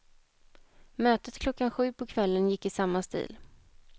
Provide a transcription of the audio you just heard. Mötet klockan sju på kvällen gick i samma stil.